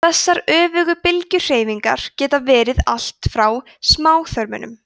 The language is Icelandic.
þessar öfugu bylgjuhreyfingar geta verið allt frá smáþörmunum